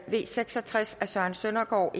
v seks og tres af søren søndergaard